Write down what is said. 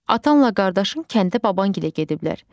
Atanla qardaşın kəndə babangilə gediblər.